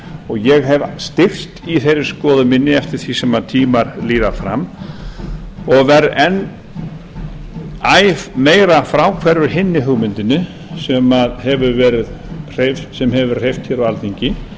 ég hef styrkst í þeirri skoðun minni eftir því sem tímar líða fram og verð æ meira fráhverfur hinni hugmyndinni sem hefur verið hreyft á alþingi